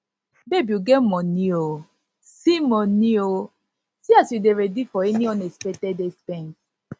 babe you get money oo see money oo see as you dey ready for any unexpected expense